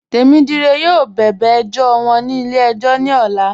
Temídíré yọọ bẹ̀bẹ̀ ẹjọ̀ wọn ní ilẹ̀-ẹ̀jọ̀ ní òlà